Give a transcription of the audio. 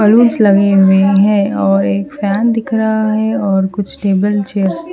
और एक फैन दिख रहा है और कुछ टेबल चेयर्स --